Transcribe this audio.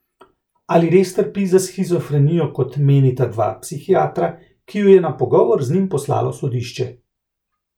Ali res trpi za shizofrenijo kot menita dva psihiatra, ki ju je na pogovor z njim poslalo sodišče?